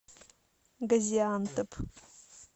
газиантеп